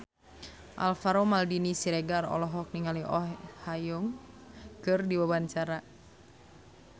Alvaro Maldini Siregar olohok ningali Oh Ha Young keur diwawancara